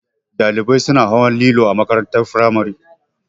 Ɗalibai suna hawa lilo a makarantar firamare